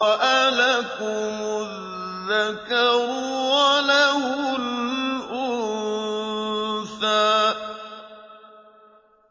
أَلَكُمُ الذَّكَرُ وَلَهُ الْأُنثَىٰ